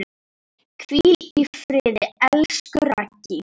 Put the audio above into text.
Hvíl í friði, elsku Raggý.